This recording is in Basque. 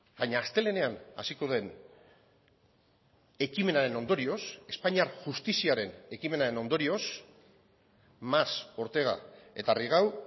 baina astelehenean hasiko den ekimenaren ondorioz espainiar justiziaren ekimenaren ondorioz mas ortega eta rigau